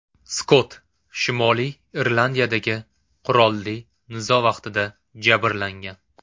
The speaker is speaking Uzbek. Skott Shimoliy Irlandiyadagi qurolli nizo vaqtida jabrlangan.